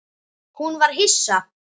Hún var hissa.